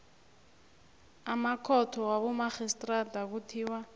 amakhotho wabomarhistrada kuthiwa